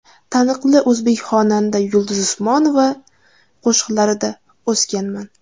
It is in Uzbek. Taniqli o‘zbek xonanda Yulduz Usmonova qo‘shiqlarida o‘sganman.